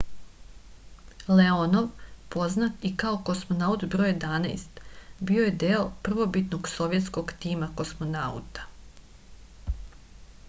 leonov poznat i kao kosmonaut br 11 bio je deo prvobitnog sovjetskog tima kosmonauta